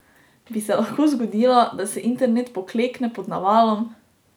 Bi se lahko zgodilo, da se internet poklekne pod navalom?